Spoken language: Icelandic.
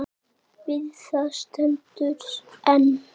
Við það stendur enn.